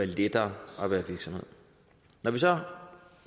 lettere at være virksomhed når vi så